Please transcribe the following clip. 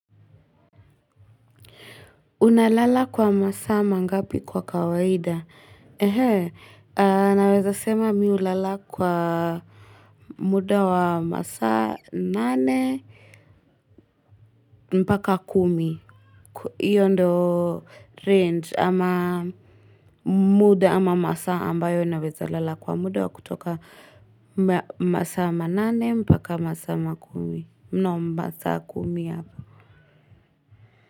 Unalala kwa masaa ngapi kwa kawaida? Naweza sema mimi hulala kwa muda wa masama nane, mpaka kumi. Hiyo ndo range ama muda ama masaa ambayo naweza lala kwa muda wa kutoka masaa nane, mpaka masaa makumi. Mnaomba saa kumi hapa.